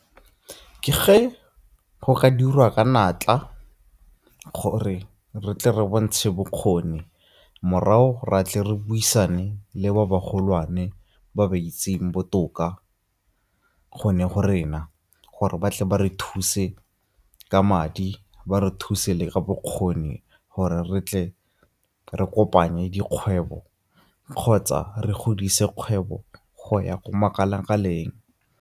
Ke ge go ka dirwa ka natla gore re tle re bontshe bokgoni morago ra tle re buisane le ba ba golwane ba ba itseng botoka go ne go rena, gore ba tle ba re thuse ka madi ba re thuse le ka bokgoni gore re tle re kopanye dikgwebo kgotsa re godise kgwebo go ya ko makala-kaleng.